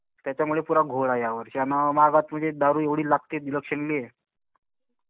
त्याच्यामुळे पुरा घोळ आहे यावर्षी. आणि महागात म्हणजे दारू एवढी लागते इलेक्शनले.